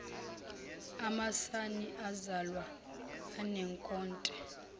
amasana azalwa anenkothe